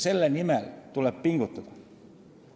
Selle nimel tuleb pingutada.